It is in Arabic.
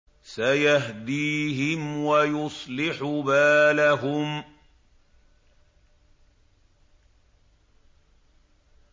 سَيَهْدِيهِمْ وَيُصْلِحُ بَالَهُمْ